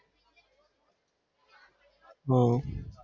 હમ